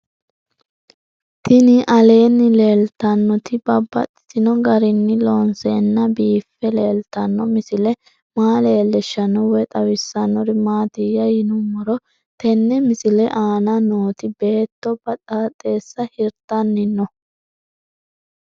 Tinni aleenni leelittannotti babaxxittinno garinni loonseenna biiffe leelittanno misile maa leelishshanno woy xawisannori maattiya yinummoro tenne misile aanna nootti beetto baxaaxxeessa hirittanni noo